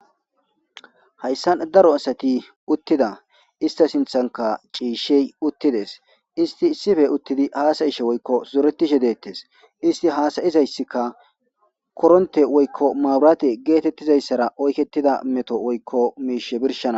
Hayssan daro asati uttida ista sinthanka ciishshey uttides isti sife uttidi haasayishe woykko uzoretishe deettes isti haasayizayssika koronte woykko maaburaate geetettizayssara oykettida meto woykko miishe birshana.